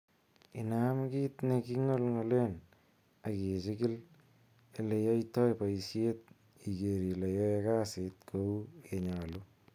Inam kit ne kingolngolen ak ichigil ele yoitoi boishet igeer ile yoe kasit kou ye nyolu.